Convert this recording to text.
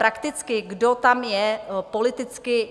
Prakticky kdo tam je politicky.